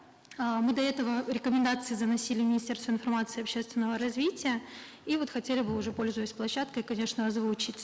э мы до этого рекомендации заносили министерству информации общественного развития и вот хотели бы уже пользуясь площадкой конечно озвучить